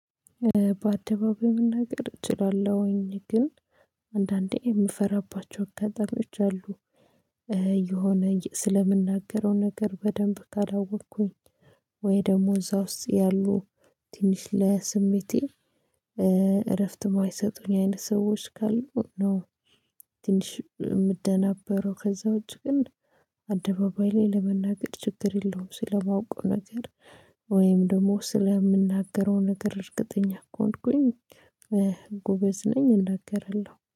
በአደባባይ መናገር እችላለሁኝ ግን አንዳንዴ የምፈራባቸው አጋጣሚዎች አሉ የሆነ ስለምናገረው ነገር በደንብ ካላወቅኩኝ ወይ ደግሞ እዛ ውስጥ ያሉ ትንሽ ለስሜቴ እረፍት የማይሰጡኝ አይነት ሰዎች ካሉ ነው። ትንሽ የምደናበረው ከዛ ውጪ ግን አደባባይ ላይ ለመናገር ችግር የለውም። ስለማውቀው ነገር ወይም ደግሞ ስለምናገረው ነገር እርግጠኛ እኮ ከሆንኩኝ ጎበዝ ነኝ እናገራለሁ